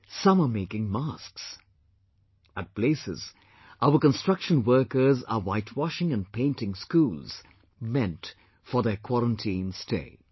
Some are making masks; at places, our construction workers are whitewashing and painting schools meant for their quarantine stay